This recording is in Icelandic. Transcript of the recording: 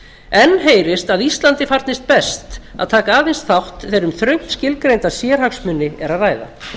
enn heyrist að íslandi farnist best að taka aðeins þátt þegar um þröngt skilgreinda sérhagsmuni er að ræða